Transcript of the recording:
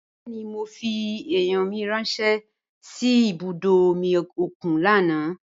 Bẹẹni mo fi eiyan mi ranṣẹ si ibudo omi okun lana.